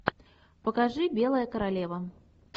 покажи белая королева